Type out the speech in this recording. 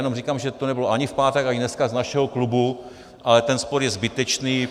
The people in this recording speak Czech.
Jenom říkám, že to nebylo ani v pátek, ani dneska z našeho klubu, ale ten spor je zbytečný.